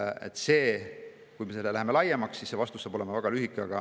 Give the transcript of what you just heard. Kui laiemaks, siis vastus saab olema väga lühike.